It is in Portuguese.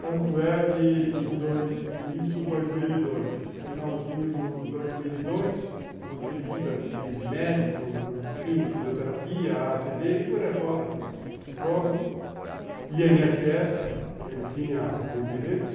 Tanto é que em dois mil e dois, finalzinho de dois mil e dois, com aquele índice de médico, enfim, fisioterapia, a a cê dê e por aí fora, psicólogo, i ene esse esse, que ele tinha os direitos,